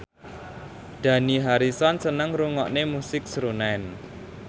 Dani Harrison seneng ngrungokne musik srunen